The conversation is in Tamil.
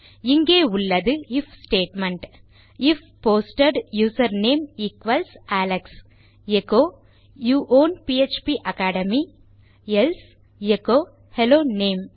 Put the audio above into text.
இங்கே உள்ளது if statement if posted user name equals Alex echo you on PHP academy else echo hello name